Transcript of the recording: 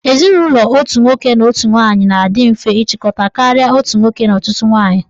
Ezinụlọ otu nwoke na otu nwaanyị na-adị mfe nchịkọta karịa nke otu nwoke na ọtụtụ nwaanyị.